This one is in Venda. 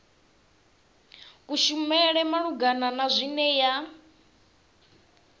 kushumele malugana na zwine ya